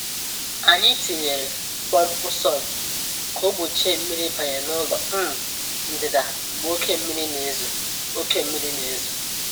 Anyị tinyere pọmpụ sump ka ọ gbochie mmiri ịbanye n’ụlọ um ndịda mgbe oké mmiri na-ezo. oké mmiri na-ezo.